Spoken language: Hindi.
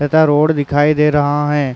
तथा रोड दिखाई दे रहां हैं ।